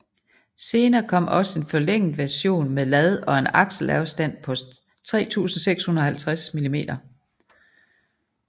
Senere kom også en forlænget version med lad og en akselafstand på 3650 mm